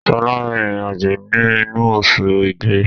Sọlá n rin ìrìn àjò ni inu osù igbe